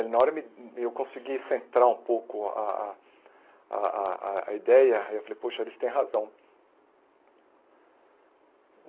Na hora eu me eu consegui centrar um pouco a a a a a ideia e eu falei, poxa, eles têm razão.